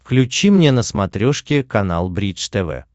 включи мне на смотрешке канал бридж тв